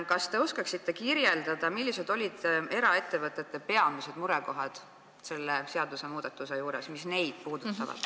Kas te oskate kirjeldada, millised olid eraettevõtjate peamised murekohad, mis neid selle seadusmuudatuse juures puudutasid?